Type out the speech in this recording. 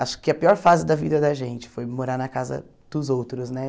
Acho que a pior fase da vida da gente foi morar na casa dos outros, né?